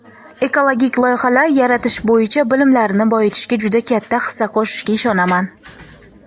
ekologik loyihalar yaratish bo‘yicha bilimlarini boyitishga juda katta hissa qo‘shishiga ishonaman.